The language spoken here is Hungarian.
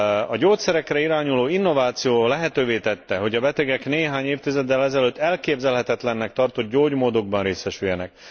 A gyógyszerekre irányuló innováció lehetővé tette, hogy a betegek néhány évtizeddel ezelőtt elképzelhetetlennek tartott gyógymódokban részesüljenek.